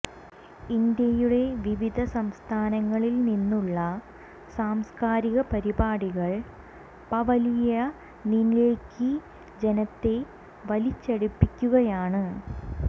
ഇന്ത്യയുടെ വിവിധ സംസ്ഥാനങ്ങങ്ങളിൽ നിന്നുള്ള സാംസ്കാരിക പരിപാടികൾ പവലിയനിലേയ്ക്ക് ജനത്തെ വലിച്ചടിപ്പിക്കുകയാണ്